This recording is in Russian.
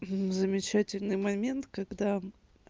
замечательный момент когда